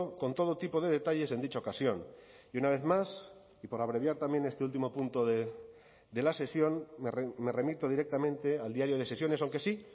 con todo tipo de detalles en dicha ocasión y una vez más y por abreviar también este último punto de la sesión me remito directamente al diario de sesiones aunque sí